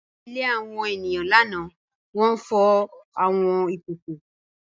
Ní ilé àwọn ènìyàn lánàá, wọ́n fọ àwọn ìkòkò.